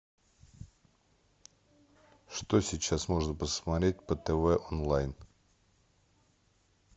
что сейчас можно посмотреть по тв онлайн